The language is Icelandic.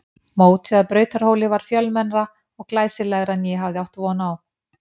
Mótið að Brautarhóli var fjölmennara og glæsilegra en ég hafði átt von á.